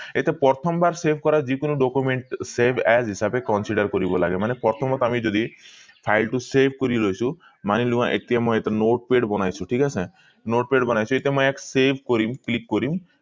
এতিয়া প্ৰথম বাৰ save কৰা যিকোনো document save as হিচাপে consider কৰিব লাগে মানে প্ৰথমত আমি যদি file টো save কৰি লৈছো মানি লোৱা ইয়াত মই এইটো notepad বনাইছো ঠিক আছে notepad বিনাইছো ইয়াত মই ইয়াক save কৰিম click কৰিম